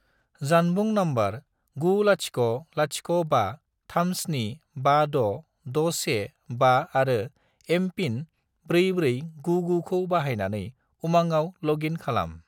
जानबुं नम्बर 90053756615 आरो एम.पिन. 4499 खौ बाहायनानै उमांआव लग इन खालाम।